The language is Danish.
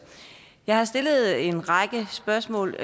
jeg har stillet en række spørgsmål